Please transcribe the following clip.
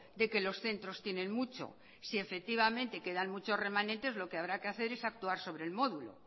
de que los centros tienen mucho si efectivamente quedan muchos remanentes lo que habrá que hacer es actuar sobre el módulo